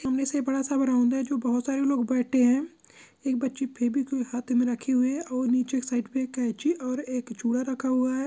सामने से बड़ा सा बरौंदा है जो बहुत सारे लोग बैठे हैं एक बच्ची फेवीक्विक हाथ में रखे हुए हैं और नीचे की साइड पर कैंची और एक चूड़ा रखा हुआ है।